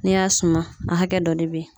N'i y'a suma a hakɛ dɔ de be yen